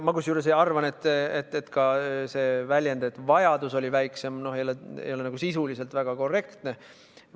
Kusjuures ma arvan, et see väljend, et vajadus oli väiksem, ei ole sisuliselt väga korrektne.